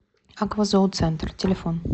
аква зооцентр телефон